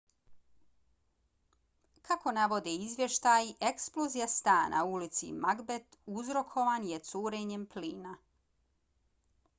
kako navode izvještaji eksplozija stana u ulici macbeth uzrokovan je curenjem plina